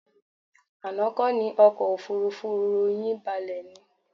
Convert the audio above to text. Àná kọ́ ni ọkọ̀ òfuurufú yín balẹ̀ ni?